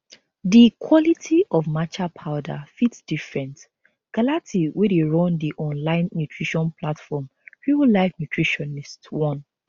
di quality of matcha powder fit different galati wey dey run di online nutrition platform real life nutritionist warn